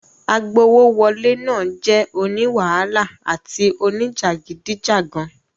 Agbowówọlé náà jẹ́ oní wàhálà àti oníjàgídíjàgan.